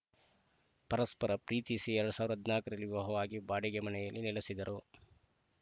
ಪರಸ್ಪರ ಪ್ರೀತಿಸಿ ಎರಡ್ ಸಾವಿರದ ಹದಿನಾಲ್ಕರಲ್ಲಿ ವಿವಾಹವಾಗಿ ಬಾಡಿಗೆ ಮನೆಯಲ್ಲಿ ನೆಲೆಸಿದ್ದರು